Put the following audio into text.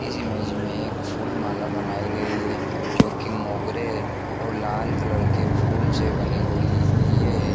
इस इमेज मैं फूल माला बनायीं गयी हैं जो की मोगरे और लाल कलर की फुल से बनी हुई ये --